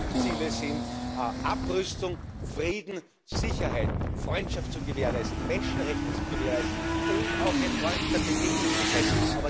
Die Hauptziele sind Abrüstung, Frieden, Sicherheit und Freundschaft zu gewährleisten, Menschenrechte zu gewährleisten, und auch ein Ort der Begegnung zu sein.